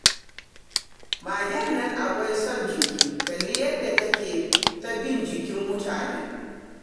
Magen nan akwai son jiki, kalli yadda take ta bin jikin mutane